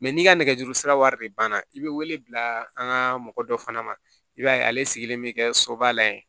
n'i ka nɛgɛjuru sira wari de banna i bɛ wele bila an ka mɔgɔ dɔ fana ma i b'a ye ale sigilen bɛ kɛ soba la yen